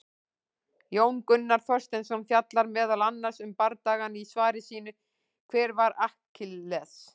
Jón Gunnar Þorsteinsson fjallar meðal annars um bardagann í svari sínu, Hver var Akkiles?